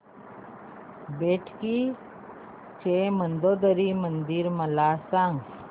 बेटकी चे मंदोदरी मंदिर मला सांग